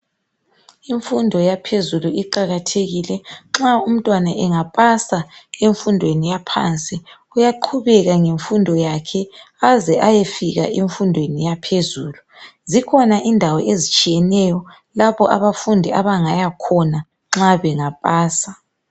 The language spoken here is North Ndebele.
Imfundo yaphezulu iqalathekile. Nxa umntwana angapasa emfundweni yaphansi uyaqhubeka ngemfundo yakhe aze ayefika emfundweni yaphezulu zikhona indawo ezitshiyeneyo lapho abafundi abangaya khona nxa bangapasa.